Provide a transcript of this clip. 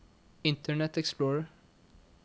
internet explorer